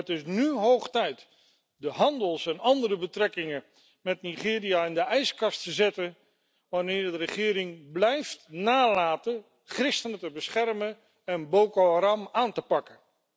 Het is nu hoog tijd de handels en andere betrekkingen met Nigeria in de ijskast te zetten wanneer de regering blijft nalaten christenen te beschermen en Boko Haram aan te pakken.